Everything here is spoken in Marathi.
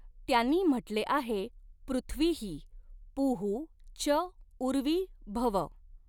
त्यांनी म्हटले आहे पृथ्वीः पूः च उर्वी भव।